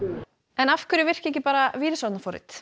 en af hverju virka ekki bara